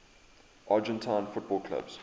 argentine football clubs